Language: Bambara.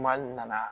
Maa n nana